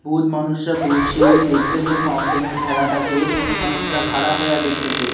বহুত মানুষরা বসে দেকতেছে ফাউন্টেন এর খেলাটাকে কোনো মানুষরা খাঁড়া হইয়া দেকতেছে।